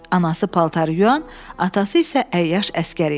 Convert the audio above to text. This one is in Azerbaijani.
Anası paltarı yuyan, atası isə əyyaş əskər idi.